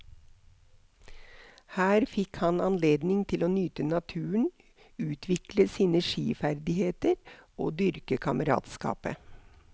Her fikk han anledning til å nyte naturen, utvikle sine skiferdigheter og dyrke kameratskapet.